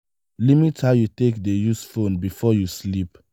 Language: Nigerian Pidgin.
limit how you take dey use phone before you sleep